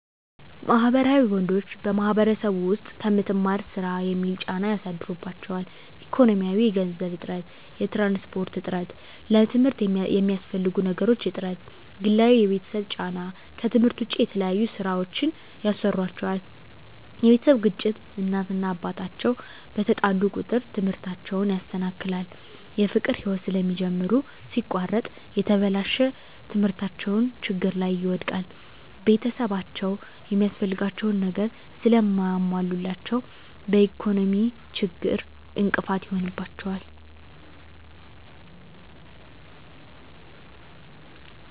ማህበራዊ ወንዶች በማህበረሰቡ ዉስጥ ከምትማር ስራ የሚል ጫና ያሳድሩባቸዋል። ኢኮኖሚያዊ የገንዘብ እጥረት፣ የትራንስፖርት እጥረት፣ ለትምርት የሚያስፈልጉ ነገሮች እጥረት፣ ግላዊ የቤተሰብ ጫና ከትምህርት ዉጭ የተለያዩ ስራወችን ያሰሩአቸዋል የቤተሰብ ግጭት እናት እና አባት አቸዉ በተጣሉ ቁጥር ትምህርታቸዉን ያሰናክላል። የፍቅር ህይወት ስለሚጀምሩ ሲቆረጥ የተበላሸ ትምህርታቸዉን ችግር ላይ ይወድቃል። ቤተሰብአቸዉ የሚያስፈልጋቸዉን ነገር ስለማያሞሉላቸዉ በኢኮኖሚ ችግር እንቅፋት ይሆንባቸዋል።